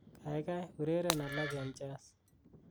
kaigai ureryen alak en jazz